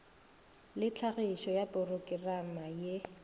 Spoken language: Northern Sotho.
le tlhagišo ya porokerama ye